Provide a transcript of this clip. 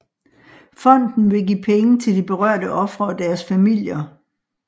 Fonden vil give penge til de berørte ofre og deres familier